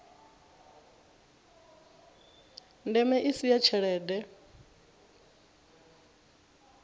ndeme i si ya tshelede